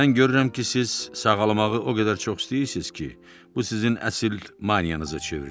Mən görürəm ki, siz sağalmağı o qədər çox istəyirsiz ki, bu sizin əsl maniyanıza çevrilib.